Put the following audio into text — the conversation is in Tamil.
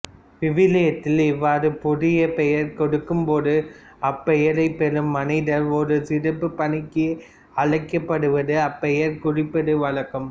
விவிலியத்தில் இவ்வாறு புதிய பெயர் கொடுக்கும்போது அப்பெயரைப் பெறும் மனிதர் ஒரு சிறப்புப் பணிக்கு அழைக்கப்படுவதை அப்பெயர் குறிப்பது வழக்கம்